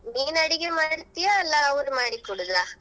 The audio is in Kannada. ನೀನ್ ಅಡಿಗೆ ಮಾಡ್ತಿಯಾ ಅಲ್ಲಾ ಅವ್ರು ಮಾಡಿ ಕೊಡುದಾ?